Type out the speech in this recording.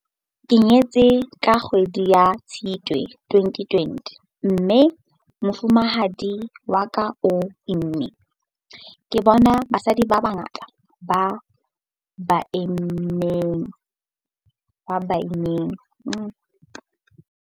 Ke nyetse ka kgwedi ya Tshitwe 2020 mme mofumahadi wa ka o imme. Ke bone basadi ba bangata ba baimana ba hlokahala phaposing ya bookelo ya COVID-19.